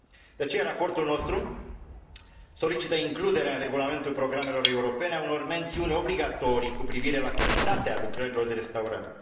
De aceea, raportul nostru solicită includerea în regulamentul programelor europene a unor mențiuni obligatorii cu privire la calitatea lucrărilor de restaurare.